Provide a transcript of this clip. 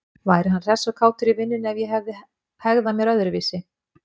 Væri hann hress og kátur í vinnunni ef ég hefði hegðað mér öðruvísi?